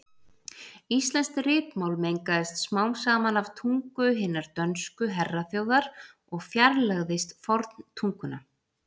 Íslenskt ritmál mengaðist smám saman af tungu hinnar dönsku herraþjóðar og fjarlægðist forntunguna.